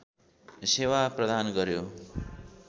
सेवा प्रदान गर्‍यो